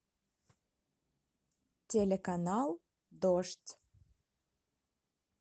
телеканал дождь